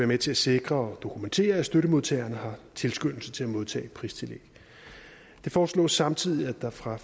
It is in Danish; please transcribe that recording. med til at sikre og dokumentere at støttemodtagerne har tilskyndelse til at modtage pristillæg det foreslås samtidig at der fra